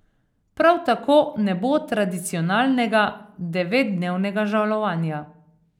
Prav tako ne bo tradicionalnega devetdnevnega žalovanja.